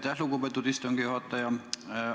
Aitäh, lugupeetud istungi juhataja!